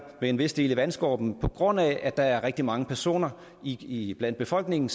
med en vis del i vandskorpen på grund af at der er rigtig mange personer i befolkningen